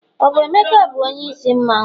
ọ bu emeka bu onye isi mmanwu?